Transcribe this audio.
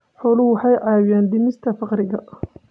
Xooluhu waxay caawiyaan dhimista faqriga.